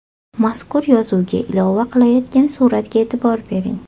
Mazkur yozuvga ilova qilayotgan suratga e’tibor bering.